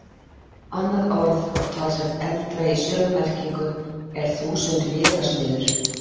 Annað orð og talsvert eldra í sömu merkingu er þúsundvélasmiður.